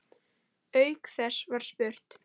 Auk þess var spurt